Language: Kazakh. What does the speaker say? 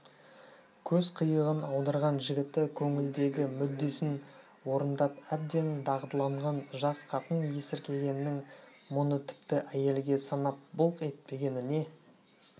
көз қиығын аударған жігіті көңілдегі мүддесін орындап әбден дағдыланған жас қатын есіркегеннің мұны тіпті әйелге санап былқ етпегеніне